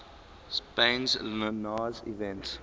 spain's linares event